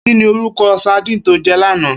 Kini órúkò sàdín tó jè làná?